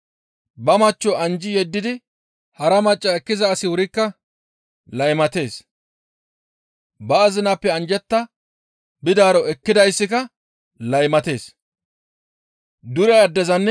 «Ba machcho anjji yeddidi hara macca ekkiza asi wurikka laymatees; ba azinappe anjjetta bidaaro ekkidayssika laymatees.